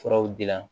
Furaw dila